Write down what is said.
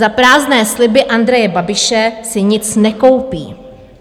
Za prázdné sliby Andreje Babiše si nic nekoupí."